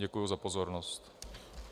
Děkuji za pozornost.